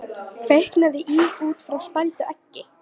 Kviknaði í út frá spældu eggi